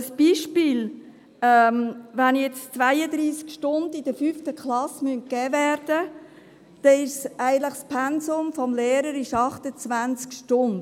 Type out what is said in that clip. Ein Beispiel: Wenn in der 5. Klasse 32 Stunden gegeben werden müssen, beträgt das Pensum des Lehrers eigentlich 28 Stunden.